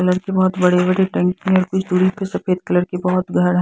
colour के बहुत बड़े-बड़े टैंक हैं कुछ दूरी पर सफेद कलर के बहुत--